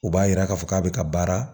U b'a yira k'a fɔ k'a bɛ ka baara